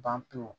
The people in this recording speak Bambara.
Ban pewu